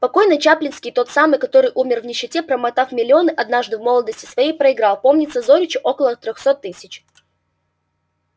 покойный чаплицкий тот самый который умер в нищете промотав миллионы однажды в молодости своей проиграл помнится зоричу около трёхсот тысяч